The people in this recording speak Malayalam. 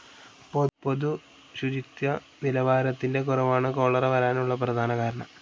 പൊതുശുചിത്വനിലവാരത്തിൻറെ കുറവാണു ചോലേര വരാൻ ഉള്ള പ്രധാന കാരണം.